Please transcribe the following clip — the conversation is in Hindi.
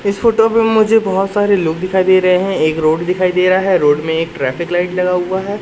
इस फोटो में मुझे बहोत सारे लोग दिखाई दे रहे हैं। एक रोड दिखाई दे रहा है। रोड में एक ट्रैफिक लाइट लगा हुआ है।